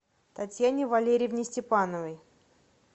татьяне валериевне степановой